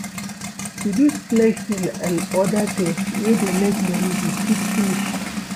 Reduce flexing and oda things wey dey make money dey quick finish